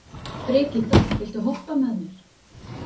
Brigitta, viltu hoppa með mér?